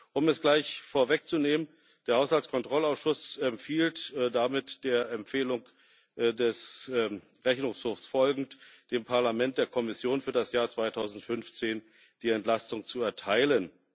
Um es gleich vorwegzunehmen Der Haushaltskontrollausschuss empfiehlt damit der Empfehlung des Rechnungshofs folgend, dem Parlament und der Kommission für das Jahr 2015 die Entlastung zu erteilen.